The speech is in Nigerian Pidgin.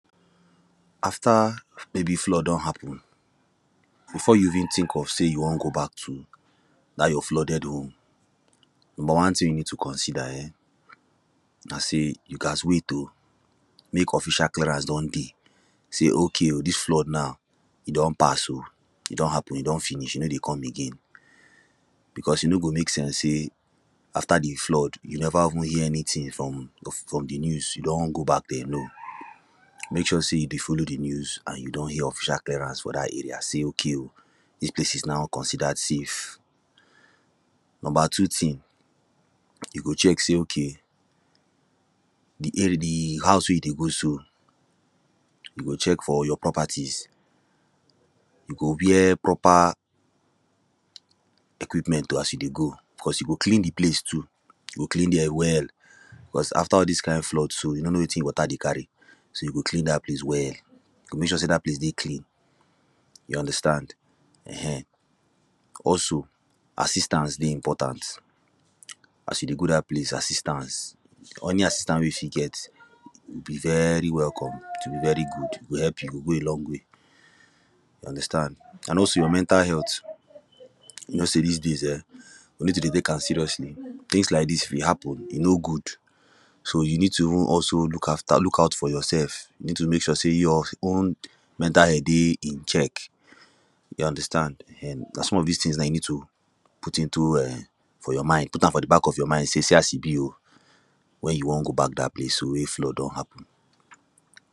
After, maybe flood don happen, before you even think of say you wan go back to dat your flooded home, number one thing you need to consider um, na say, you gat wait o, mek offficial clearance don dey. Say okay o, dis flood now, e don pass o, e don happen, e don finish, e no dey come again, because e no go mek sense say after the flood, you never even hear anything from, from the news, you don go back there, no! mek sure say you dey follow the news, and you don hear official clearance for dat area, say okay o, dis place is now considered safe. Number two thing: you go check say, okay, the ar... the house wey you dey go so, you go check for all your properties. You go wear proper equipment o, as you dey go, because you go clean the place too. You go clean them well, because after all this kind flood so, you no know wetin water dey carry. so, you go clean dat place well. You go mek sure say dat place dey clean. You understand um Also, assistance dey important, as you dey go dat place, assistance, or any assistance wey you fit get, it will be very welcome, it will be very good, e go help you go a long way. You understand? And also your mental health, you know say dis days um, you need to dey tek am seriously, things lak dis if happen, e no good. So, you need to even also look after, look out for yourself. You need to mek sure say your own mental health dey in check. You understand um na some of dis things you need to put into um for your mind. Put am for the back of your mind, say, see as e be o. when you wan go back dat place so wey flood don happen.